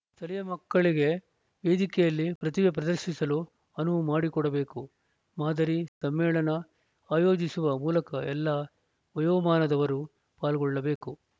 ಸ್ಥಳೀಯ ಮಕ್ಕಳಿಗೆ ವೇದಿಕೆಯಲ್ಲಿ ಪ್ರತಿಭೆ ಪ್ರದರ್ಶಿಸಲು ಅನುವು ಮಾಡಿಕೊಡಬೇಕು ಮಾದರಿ ಸಮ್ಮೇಳನ ಆಯೋಜಿಸುವ ಮೂಲಕ ಎಲ್ಲಾ ವಯೋಮಾನದವರೂ ಪಾಲ್ಗೊಳ್ಳಬೇಕು